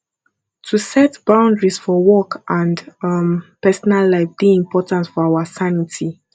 to set boundaries for work and um personal life dey important for our sanity